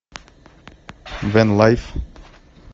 бен лайф